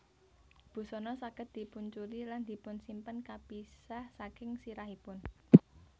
Busana saged dipunuculi lan dipunsimpen kapisah saking sirahipun